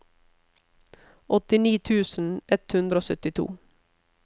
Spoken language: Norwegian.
åttini tusen ett hundre og syttito